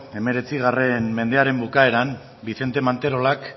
hemeretzi mendearen bukaeran vicente manterolak